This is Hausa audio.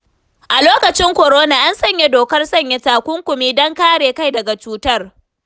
A lokaci korona, an sanya dokar sanya takunkumi, don kare kai daga cutar.